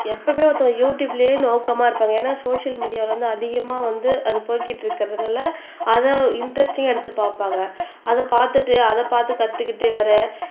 எப்பவுமே ஒருத்தவங்க யுடுயூப்லையே நோக்கமா இருப்பாங்க ஏன்னா சோசியல் மீடியால வந்து அதிகமா வந்து அது போய்க்கிட்டிருக்கறதுனால அதை இன்டரஸ்டிங்கா எடுத்து பார்ப்பாங்க அதைப் பார்த்துட்டு அதைப் பார்த்து கத்துக்கிட்டே வேர